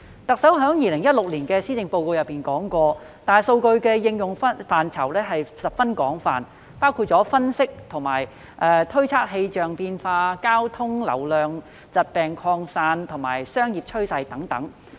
特首在2016年的施政報告中提出，大數據的應用範疇十分廣泛，包括分析和推測氣象變化、交通流量、疾病擴散及商業趨勢等。